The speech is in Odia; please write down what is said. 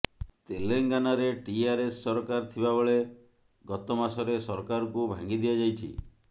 ତେଲଙ୍ଗାନାରେ ଟିଆରଏସ୍ ସରକାର ଥିବାବେଳେ ଗତ ମାସରେ ସରକାରକୁ ଭାଙ୍ଗି ଦିଆଯାଇଛି